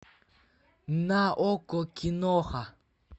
на окко киноха